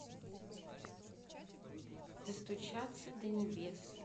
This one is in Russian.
достучаться до небес